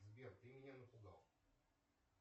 сбер ты меня напугал